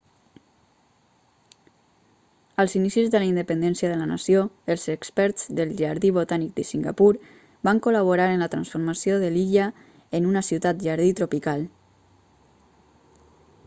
als inicis de la independència de la nació el experts del jardí botànic de singapur van col·laborar en la transformació de l'illa en una ciutat jardí tropical